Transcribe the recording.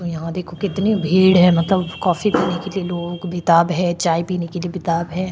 यहाँ देखो कितनी भीड़ है मतलब कॉफी पीने के लिए लोग बेताब है चाय पीने के लिए बेताब है।